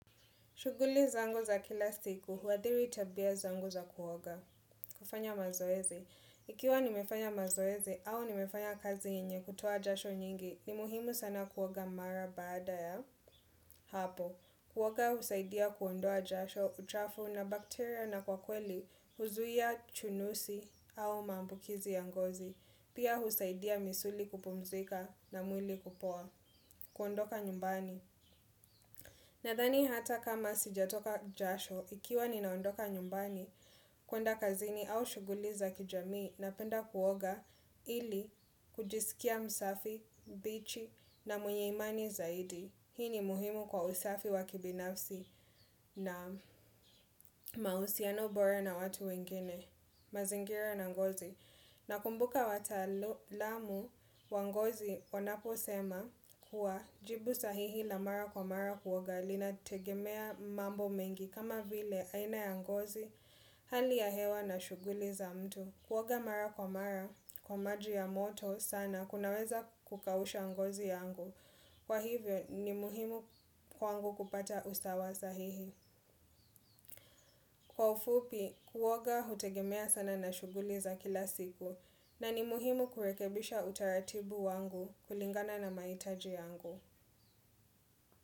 Shughuli zangu za kila siku, huadhiri tabia zangu za kuoga. Kufanya mazoezi. Ikiwa nimefanya mazoezi au nimefanya kazi yenye kutoa jasho nyingi, ni muhimu sana kuoga mara baada ya. Hapo, kuoga husaidia kuondoa jasho, uchafu na bakteria na kwa kweli, huzuia chunusi au mambukizi ya ngozi. Pia husaidia misuli kupumzika na mwili kupoa. Kuondoka nyumbani. Nadhani hata kama sijatoka jasho, ikiwa ninaondoka nyumbani kwenda kazini au shuguli za kijamii napenda kuoga ili kujisikia msafi, mbichi na mwenye imani zaidi. Hii ni muhimu kwa usafi wa kibinafsi na mahusiano bora na watu wengine, mazingira na ngozi. Nakumbuka wataalamu wa ngozi, wanaposema kuwa jibu sahihi la mara kwa mara kuoga linategemea mambo mengi kama vile aina ya ngozi, hali ya hewa na shuguli za mtu. Kuoga mara kwa mara, kwa maji ya moto sana kunaweza kukausha ngozi yangu. Kwa hivyo, ni muhimu kwangu kupata usawa sahihi. Kwa ufupi, kuoga hutegemea sana na shuguli za kila siku na ni muhimu kurekebisha utaratibu wangu kulingana na mahitaji yangu.